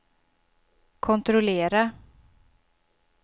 kontrollera